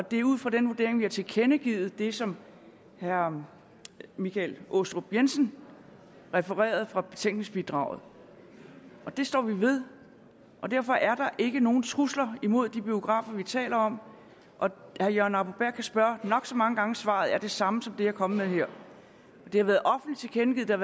og det er ud fra den vurdering vi har tilkendegivet det som herre michael aastrup jensen refererede fra betænkningsbidraget det står vi ved derfor er der ikke nogen trusler mod de biografer vi taler om og herre jørgen arbo bæhr kan spørge nok så mange gange svaret er det samme som det jeg er kommet med her det har været offentligt tilkendegivet der